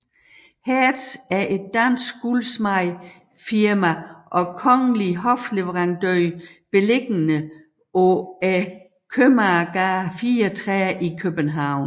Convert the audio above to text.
Hertz er et dansk guldsmedefirma og kongelig hofleverandør beliggende Købmagergade 34 i København